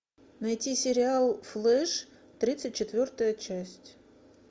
найти сериал флэш тридцать четвертая часть